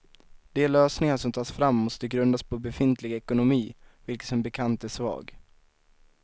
De lösningar som tas fram måste grundas på befintlig ekonomi, vilken som bekant är svag.